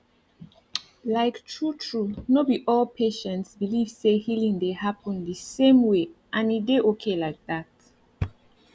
like true true no be all patients believe say healing dey happen the same way and e dey okay like that